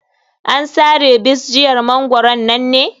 An sare bisjiyar mangwaron nan ne?